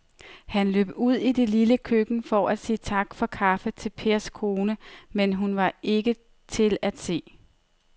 Han løb ud i det lille køkken for at sige tak for kaffe til Pers kone, men hun var ikke til at se.